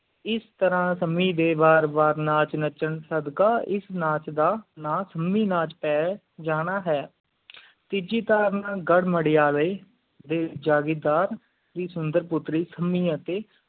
ਇਸ ਤਰਾਹ ਡੇ ਬਾਰ ਬਾਰ ਨਾਚਾਂ ਸਦਕਾ ਇਸ ਨਾਚ ਦਾ ਨਾ ਸੰਮੀ ਜਾਣਾ ਹੈ ਤੀਜੀ ਧਾਰਨਾ ਗੜ੍ਹਮਰਯਾ ਡੇ ਜਾਗੀਰਦਾਰ ਦੀ ਸੁੰਦਰ ਪੁਤ੍ਰੀ ਸੰਮੀ ਅਤਿ